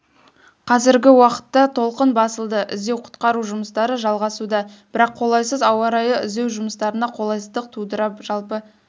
қазіргі уақытта толқын басылды іздеу-құтқару жұмыстары жалғасуда бірақ қолайсыз ауа райы іздеу жұмыстарына қолайсыздық тудыруда жалпы